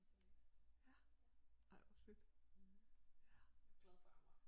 Mens jeg læste ja jeg er glad for Amager